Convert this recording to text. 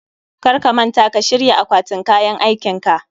Kar ka manta ka shirya akwatin kayan aikinka